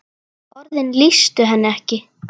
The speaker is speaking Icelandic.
Orðin lýstu henni ekki.